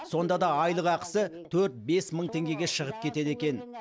сонда да айлық ақысы төрт бес мың теңгеге шығып кетеді екен